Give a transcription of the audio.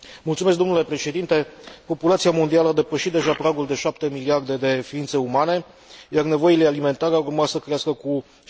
Populația mondială a depășit deja pragul de șapte miliarde de ființe umane, iar nevoile alimentare ar urma să crească cu 70 până în anul